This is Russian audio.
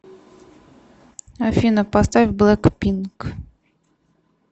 афина поставь блэкпинк